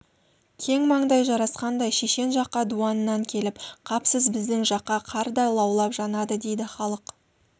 кең маңдай жарасқандай шешен жаққа дуаннан келіп қапсыз біздің жаққа қар да лаулап жанады дейді халық